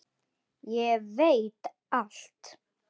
Ég veit allt!